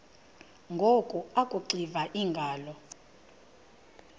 ngoku akuxiva iingalo